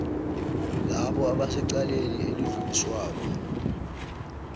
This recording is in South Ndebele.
labo abasecaleni elidluliswako